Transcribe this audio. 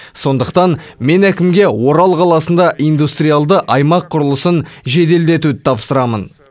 сондықтан мен әкімге орал қаласында индустриалды аймақ құрылысын жеделдетуді тапсырамын